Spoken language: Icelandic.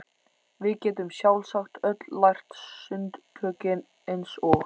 Við gætum sjálfsagt öll lært sundtökin eins og